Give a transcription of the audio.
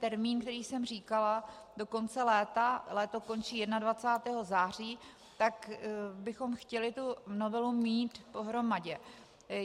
Termín, který jsem říkala, do konce léta, léto končí 21. září, tak bychom chtěli tu novelu mít pohromadě.